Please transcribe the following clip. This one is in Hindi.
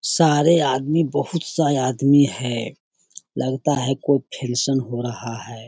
सारे आदमी बहुत सारे आदमी है लगता है कोई फ़िनशन हो रहा है।